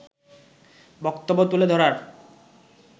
বক্তব্য তুলে ধরার